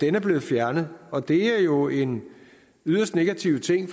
er blevet fjernet og det er jo en yderst negative ting